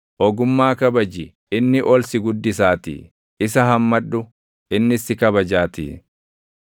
Ogummaa kabaji; inni ol si guddisaatii; isa hammadhu; innis si kabajaatii.